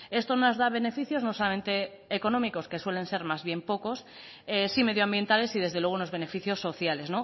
esto nos da beneficios no solamente económicos que suelen ser más bien pocos sí medioambientales y desde luego unos beneficios sociales